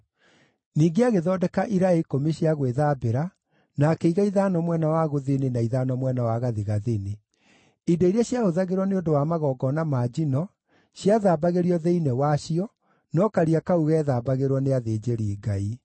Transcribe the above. Ningĩ agĩthondeka iraĩ ikũmi cia gwĩthambĩra, na akĩiga ithano mwena wa gũthini na ithano mwena wa gathigathini. Indo iria ciahũthagĩrwo nĩ ũndũ wa magongona ma njino ciathambagĩrio thĩinĩ wacio, no Karia kau geethambagĩrwo nĩ athĩnjĩri-Ngai.